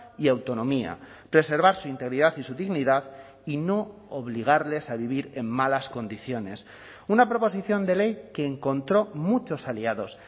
y autonomía preservar su integridad y su dignidad y no obligarles a vivir en malas condiciones una proposición de ley que encontró muchos aliados